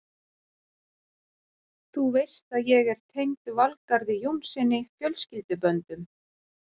Þú veist að ég er tengd Valgarði Jónssyni fjölskylduböndum.